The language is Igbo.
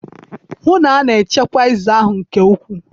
hụ na a na-echekwa eze ahụ nke ukwuu